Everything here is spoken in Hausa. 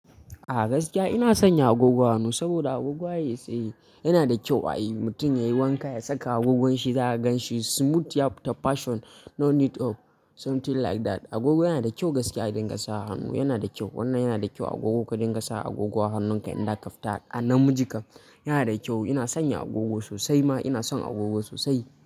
A gaskiya ina sanya agogon hannu, saboda agogo ba yayi sai yana da kyau ai. Mutum ya yi wanka ya saka agogon shi, za ka gan shi smooth, ya fita fashion, no need of something like that. Agogo yana da kyau gaskiya idan ka sa hannu, yana da kyau. Wannan yana da kyau agogo ka dinga sa agogo a hannunka idan ka fita a namijin ka. Yana da kyau. Ina sanya agogo sosai ma ina son agogo sosai.